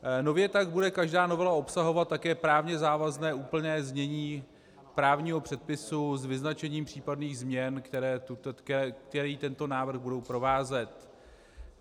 Nově tak bude každá novela obsahovat také právně závazné úplné znění právního předpisu s vyznačením případných změn, které tento návrh budou provázet.